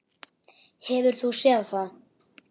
Hefur þú séð það?